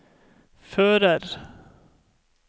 fører